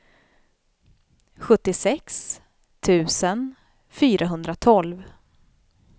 sjuttiosex tusen fyrahundratolv